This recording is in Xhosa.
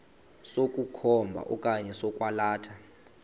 sokukhomba okanye sokwalatha